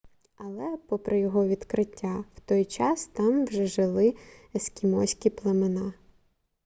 але попри його відкриття в той час там вже жили ескімоські племена